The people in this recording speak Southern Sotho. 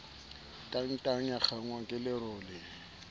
tangtang ya kgangwa ke lerole